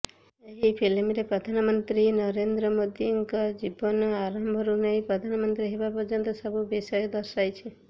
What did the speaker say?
ଏହି ଫିଲ୍ମରେ ପ୍ରଧାନମନ୍ତ୍ରୀ ନରେନ୍ଦ୍ର ମୋଦିଙ୍କ ଜୀବନ ଆରମ୍ଭରୁ ନେଇ ପ୍ରଧାନମନ୍ତ୍ରୀ ହେବା ପର୍ଯ୍ୟନ୍ତ ସବୁ ବିଷୟ ଦର୍ଶାଯାଇଛି